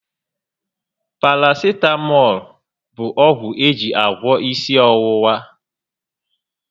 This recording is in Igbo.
Parasitamọlụ bu ọgwụ eji agwọ ịsị ọwụwa